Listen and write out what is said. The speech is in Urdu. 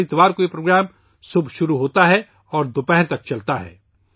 ہر اتوار کو یہ پروگرام صبح شروع ہوتا ہے اور دوپہر تک چلتا ہے